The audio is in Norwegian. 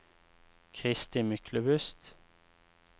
Kristi Myklebust